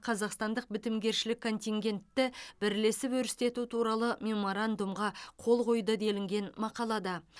қазақстандық бітімгершілік контингентті бірлесіп өрістету туралы меморандумға қол қойды делінген мақалада